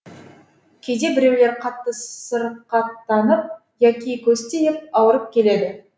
кейде біреулер қатты сырқаттанып яки көз тиіп ауырып келеді